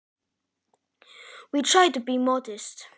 Við reynum að láta lítið á okkur bera.